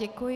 Děkuji.